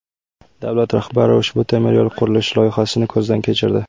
Davlat rahbari ushbu temiryo‘l qurilishi loyihasini ko‘zdan kechirdi.